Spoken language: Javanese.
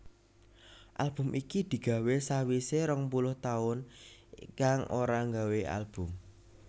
Album iki digawé sawisé rong puluh taun Ikang ora nggawé Album